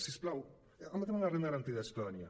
si us plau amb el tema de la renda garantida de ciutadania